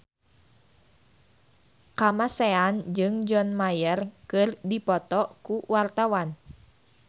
Kamasean jeung John Mayer keur dipoto ku wartawan